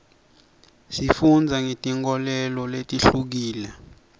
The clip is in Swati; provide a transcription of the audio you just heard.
sifundza ngetinkholelo letihlukile